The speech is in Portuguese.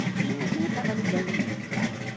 Mas também eu nem estava ligando muito, sabe?